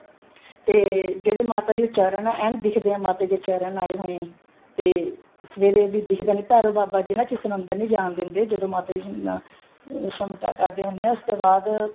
ਤੇ ਜਿਹੜੇ ਮਾਤਾ ਜੀ ਦੇ ਚਰਨ ਹੈ ਐਨ ਦਿੱਖਦੇ ਹੈ ਮਾਤਾ ਜੀ ਦੇ ਚਰਨ ਆਏ ਹੋਏ ਹੈ ਤੇ ਸਵੇਰੇ ਵੀ ਦਿਖਦੇ ਨੇ ਭੈਰੋ ਬਾਬਾ ਜੀ ਕਿਸੇ ਨੂੰ ਅੰਦਰ ਨਹੀਂ ਜਾਣ ਦਿੰਦੇ ਜਦੋਂ ਮਾਤਾ ਜੀ ਨੂੰ ਸਮਟਾ ਕਰਦੇ ਹੁੰਦੇ ਹੈ ਉਸ ਤੋਂ ਬਾਅਦ